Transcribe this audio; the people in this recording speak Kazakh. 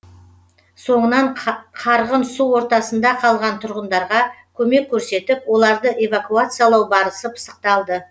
соңынан қарғын су ортасында қалған тұрғындарға көмек көрсетіп оларды эвакуациялау барысы пысықталды